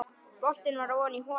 Boltinn var ofan í holu.